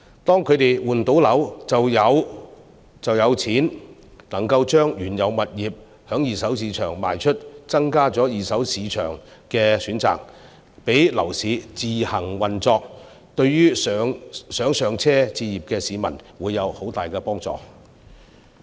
當他們換樓後就能夠把原有物業在二手市場出售，增加二手市場的選擇，讓樓市自行運作，對想"上車"置業的市民會有很大幫助。